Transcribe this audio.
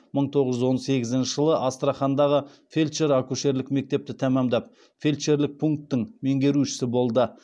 мың тоғыз жүз он сегізінші жылы астрахандағы фельдшер акушерлік мектепті тәмамдап фельдшерлік пунктің меңгерушісі болды